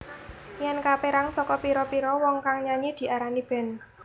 Yen kaperang saka pira pira wong kang nyanyi diarani band